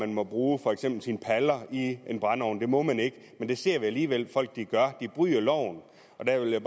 må bruge for eksempel sine paller i en brændeovn det må man ikke men det ser vi alligevel at folk gør de bryder loven og der vil jeg